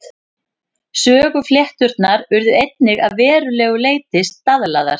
Söguflétturnar urðu einnig að verulegu leyti staðlaðar.